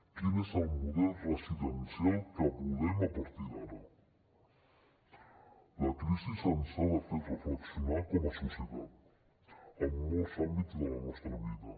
quin és el model residencial que volem a partir d’ara la crisi ens ha de fer reflexionar com a societat en molts àmbits de la nostra vida